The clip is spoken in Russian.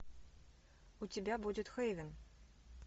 у тебя будет хейвен